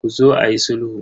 Ku zo ayi sulhu.